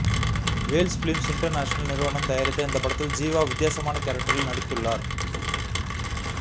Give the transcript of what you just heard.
Wales Films International நிறுவனம் தயாரித்த இந்த படத்தில் ஜீவா வித்தியாசமான கேரக்டரில் நடித்துள்ளார்